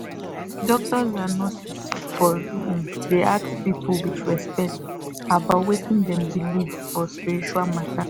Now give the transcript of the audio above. doctors and nurses suppose um dey ask people with respect about wetin dem believe for spiritual matter